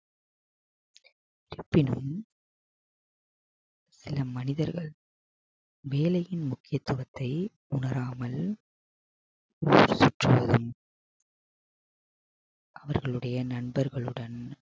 இருப்பினும் சில மனிதர்கள் வேலையின் முக்கியத்துவத்தை உணராமல் ஊர் சுற்றுவதும் அவர்களுடைய நண்பர்களுடன்